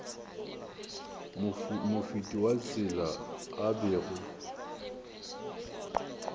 mofeti wa tsela a bego